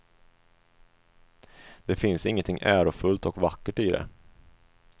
Det finns ingenting ärofullt och vackert i det.